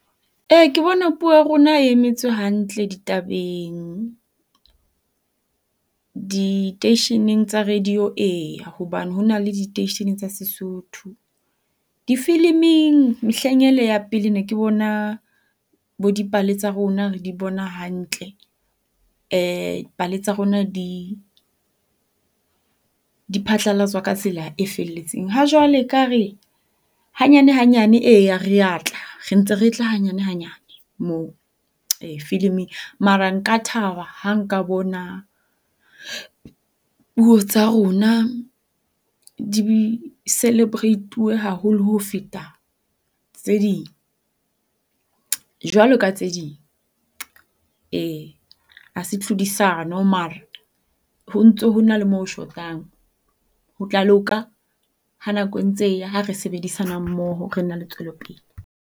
Eya ke bona puo ya rona e emetswe hantle ditabeng. Diteisheneng tsa radio, ee, hobane hona le diteishene tsa Sesotho. Difiliming mehleng ele ya pele ne ke bona bo dipale tsa rona re di bona hantle. Pale tsa rona di di phatlalatswa ka tsela e felletseng. Ha jwale ekare hanyane hanyane. Eya, rea tla re ntse re tla hanyane hanyane moo filiming. Mara nka thaba ha nka bona puo tsa rona di celebrate-we haholo ho feta tse ding, jwaloka tse ding. Ee, hase tlhodisano mara ho ntso ho na le mo ho shotang. Ho tla loka ha nako entse e ya ha re sebedisanang mmoho re tla ba le tswelopele.